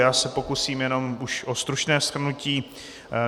Já se pokusím jenom už o stručné shrnutí.